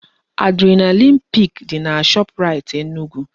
Adrenaline peak dị na Shoprite Enugu